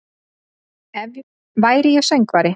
Ef væri ég söngvari